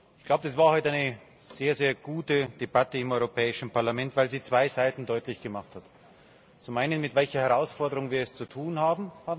Ich glaube, das war heute eine sehr, sehr gute Debatte im Europäischen Parlament, weil sie zwei Seiten deutlich gemacht hat Zum einen, mit welcher Herausforderung wir es zu tun haben.